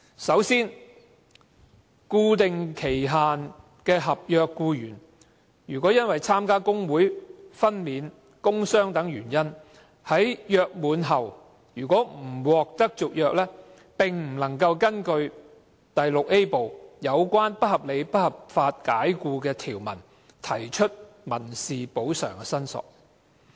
首先，固定期限的合約僱員，若因參加工會、分娩、工傷等原因，在約滿後不獲續約，並不能根據《條例》第 VIA 部有關不合理及不合法解僱的條文提出民事補償申索。